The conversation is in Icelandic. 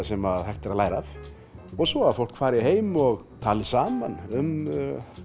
sem hægt er að læra af og svo að fólk fari heim og tali saman um